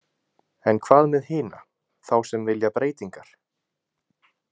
En hvað með hina, þá sem vilja breytingar?